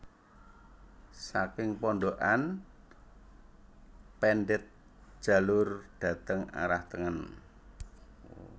Saking Pondokan pendhet jalur dhateng arah tengen